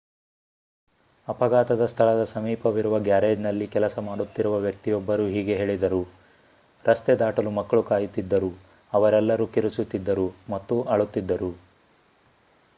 ಅಪಘಾತದ ಸ್ಥಳದ ಸಮೀಪವಿರುವ ಗ್ಯಾರೇಜ್‌ನಲ್ಲಿ ಕೆಲಸ ಮಾಡುತ್ತಿರುವ ವ್ಯಕ್ತಿಯೊಬ್ಬರು ಹೀಗೆ ಹೇಳಿದರು: ರಸ್ತೆ ದಾಟಲು ಮಕ್ಕಳು ಕಾಯುತ್ತಿದ್ದರು ಅವರೆಲ್ಲರೂ ಕಿರುಚುತ್ತಿದ್ದರು ಮತ್ತು ಅಳುತ್ತಿದ್ದರು.